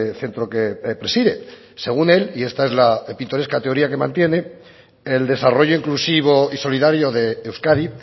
centro que preside según él y esta es la pintoresca teoría que mantiene el desarrollo inclusivo y solidario de euskadi